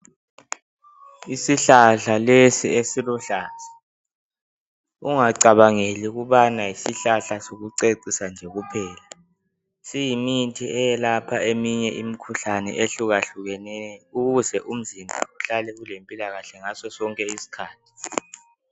Isihlahla lesi esiluhlaza ungacabangeli ukubana yisihlahla sokucecisa nje kuphela. Siyimithi eyelapha eminye imikhuhlane ehlukahlukeneyo ukuze umzimba uhlale ulempilakahle ngasosonke isikhathi.